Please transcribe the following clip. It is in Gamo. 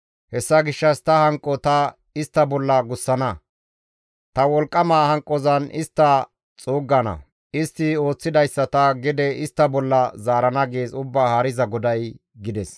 Hessa gishshas ta hanqo ta istta bolla gussana; ta wolqqama hanqozan ta istta xuuggana; istti ooththidayssa ta gede istta bolla zaarana gees Ubbaa Haariza GODAY» gides.